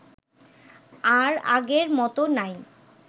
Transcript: আর আগের মত নাই